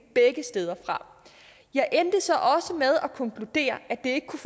begge steder fra jeg endte så også med at konkludere at det ikke kunne